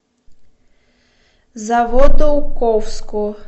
заводоуковску